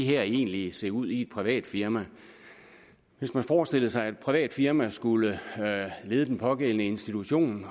her egentlig se ud i et privat firma hvis man forestillede sig at et privat firma skulle lede den pågældende institution